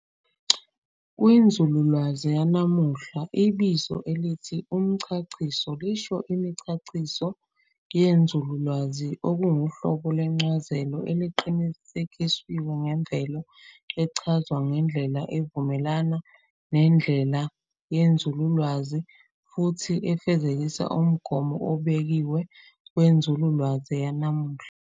Kwinzululwazi yanamuhla, ibizo elithi "umchachiso" lisho imichachiso yenzululwazi, okunguhlobo lwencazelo eqinisekisiwe ngemvelo, echazwa ngendlela evumelana nendlelasu yenzululwazi, futhi efezekisa umgomo obekiwe wenzululwazi yanamuhla.